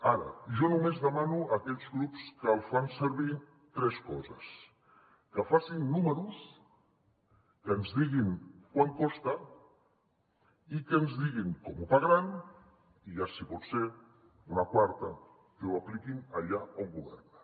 ara jo només demano a aquells grups que el fan servir tres coses que facin números que ens diguin quant costa i que ens diguin com ho pagaran i ja si pot ser una quarta que ho apliquin allà on governen